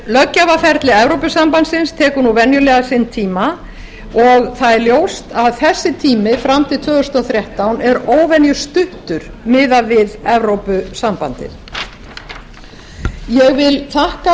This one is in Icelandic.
löggjafarferli evrópusambandsins tekur eðlilega sinn tíma og það er ljóst að þessi tími fram til tvö þúsund og þrettán er óvenjustuttur miðað við evrópusambandið ég